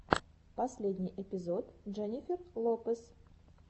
последний эпизод дженнифер лопез